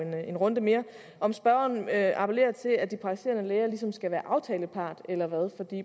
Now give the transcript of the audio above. en runde mere om spørgeren appellerer til at de praktiserende læger ligesom skal være aftalepart eller hvad